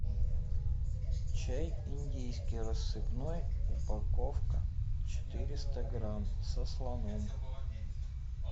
чай индийский рассыпной упаковка четыреста грамм со слоном